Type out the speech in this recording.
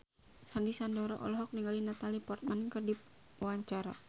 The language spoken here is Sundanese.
Sandy Sandoro olohok ningali Natalie Portman keur diwawancara